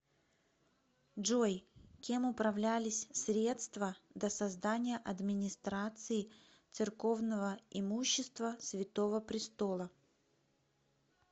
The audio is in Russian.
джой кем управлялись средства до создания администрации церковного имущества святого престола